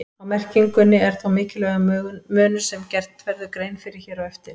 Á merkingunni er þó mikilvægur munur sem gert verður grein fyrir hér á eftir.